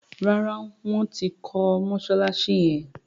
ràrá wón tí kò Mossalassi yén.